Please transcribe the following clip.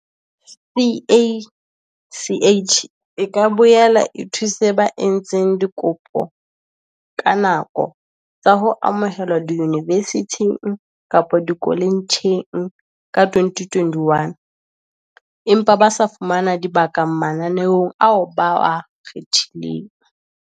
CACH e ka boela e thuse ba entseng dikopo ka nako tsa ho amohelwa diyunivesithing kapa dikoletjheng ka 2021 empa ba sa fumana dibaka mananeong ao ba a kgethileng.